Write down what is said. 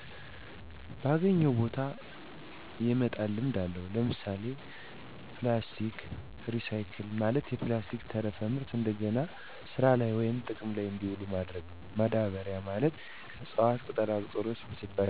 ባገኘው ቦታ የመጣል ልምድ አለው። ለምሣሌ፦ ፕላስቲክ ሪሳይክል፦ ማለት የፕላስቲክ ተረፈ ምርት እደገና ስራላይ ወይም ጥቅም ላይ እዲውሉ ማድረግ ነው። ማዳበሪያ፦ ማለት ከእፅዋት ቅጠላቅጠሎች ብስባሽ እና ከእንስሳት ፅዳጅ የሚገኝ ሲሆን ለአትክልት ማሣደጊያ ማዳበሪያ በመሆን ያገለግላል። ባዬ ጋዝ፦ ማለት ከከብቶች እበት የሚዘጋጅ ቢሆን ለመብራትነት ያገለግላል።